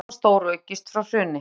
Vanskil hafa stóraukist frá hruni